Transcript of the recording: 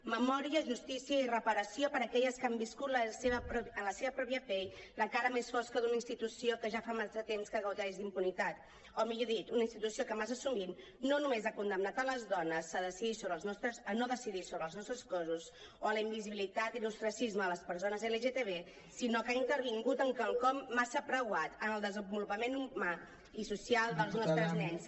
memòria justícia i reparació per aquelles que han viscut en la seva pròpia pell la cara més fosca d’una institució que ja fa massa temps que gaudeix d’impunitat o millor dit una institució que massa sovint no només ha condemnat les dones a no decidir sobre els nostres cossos o a la invisibilitat i l’ostracisme les persones lgtb sinó que ha intervingut en quelcom massa preuat en el desenvolupament humà i social dels nostres nens